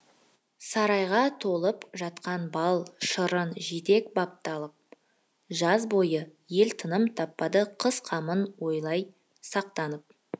сарайға толып жатқаны бал шырын жидек бапталып жаз бойы ел тыным таппады қыс қамын ойлай сақтанып